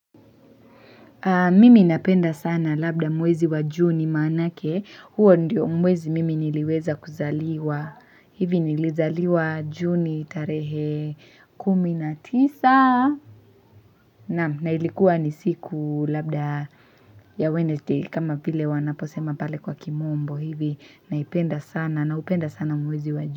Mimi napenda sana labda mwezi wa Juni maanake. Huo ndiyo mwezi mimi niliweza kuzaliwa. Hivi nilizaliwa Juni tarehe kumi na tisa. Na'am, na ilikuwa ni siku labda ya Wednesday, kama vile wanaposema pale kwa kimombo. Hivi naipenda sana naupenda sana mwezi wa Juni.